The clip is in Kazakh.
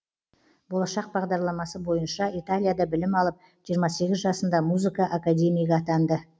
болашақ бағдарламасы бойынша италияда білім алып жиырма сегіз жасында музыка академигі атанды